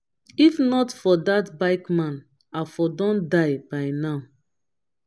if not for dat bike man i for don die by now